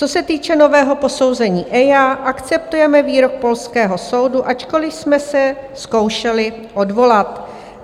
Co se týče nového posouzení EIA, akceptujeme výrok polského soudu, ačkoliv jsme se zkoušeli odvolat.